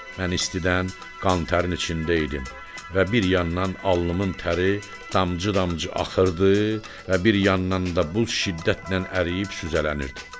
Mən istidən qantərin içində idim və bir yandan alnımın təri damcı-damcı axırdı və bir yandan da buz şiddətlə əriyib süzələnirdi.